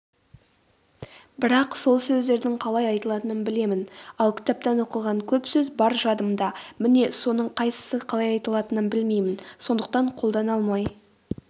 бірақ сол сөздердің қалай айтылатынын білемін ал кітаптан оқыған көп сөз бар жадымда міне соның қайсысы қалай айтылатынын білмеймін сондықтан қолдана алмай